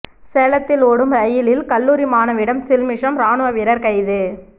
சேலத்தில் ஓடும் ரயிலில் கல்லூரி மாணவியிடம் சில்மிஷம் ராணுவ வீரர் கைது